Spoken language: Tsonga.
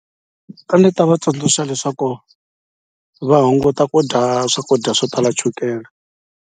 A ni ta va tsundzuxa leswaku va hunguta ku dya swakudya swo tala chukela.